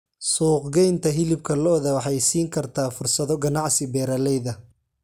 Suuqgeynta hilibka lo'da waxay siin kartaa fursado ganacsi beeralayda.